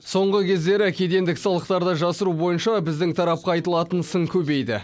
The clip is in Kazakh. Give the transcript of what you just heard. соңғы кездері кедендік салықтарды жасыру бойынша біздің тарапқа айтылатын сын көбейді